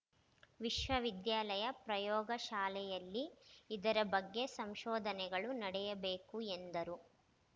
ವಿಶ್ವವಿದ್ಯಾಲಯ ಪ್ರಯೋಗಶಾಲೆಯಲ್ಲಿ ಇದರ ಬಗ್ಗೆ ಸಂಶೋಧನೆಗಳು ನಡೆಯಬೇಕು ಎಂದರು